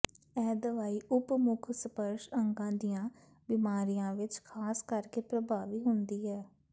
ਇਹ ਦਵਾਈ ਉਪ ਮੁੱਖ ਸਪਰਸ਼ ਅੰਗਾਂ ਦੀਆਂ ਬਿਮਾਰੀਆਂ ਵਿੱਚ ਖਾਸ ਕਰਕੇ ਪ੍ਰਭਾਵੀ ਹੁੰਦੀ ਹੈ